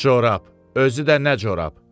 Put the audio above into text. Corab, özü də nə corab.